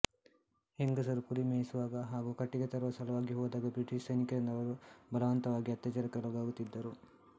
ಹೆಂಗಸರು ಕುರಿ ಮೇಯಿಸುವ ಹಾಗು ಕಟ್ಟಿಗೆ ತರುವ ಸಲುವಾಗಿ ಹೋದಾಗ ಬ್ರಿಟೀಷ್ ಸೈನಿಕರಿಂದ ಅವರು ಬಲವಂತವಾಗಿ ಅತ್ಯಾಚಾರಕ್ಕೆ ಒಳಗಾಗುತ್ತಿದ್ದರು